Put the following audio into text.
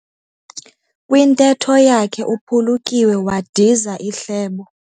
Kwintetho yakhe uphulukiwe wadiza ihlebo.